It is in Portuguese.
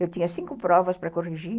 Eu tinha cinco provas para corrigir.